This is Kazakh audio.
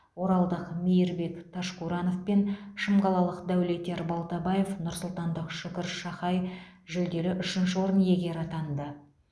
оралдық мейірбек ташкуранов пен шымқалалық дәулетияр балтабаев нұрсұлтандық шүкір шахай жүлделі үшінші орын иегері атанды